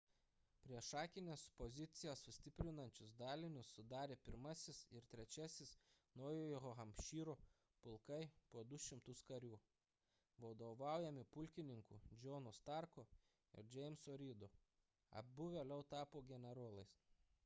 priešakines pozicijas sustiprinančius dalinius sudarė 1-asis ir 3-iasis naujojo hampšyro pulkai po 200 karių vadovaujami pulkininkų johno starko ir jameso reedo abu vėliau tapo generolais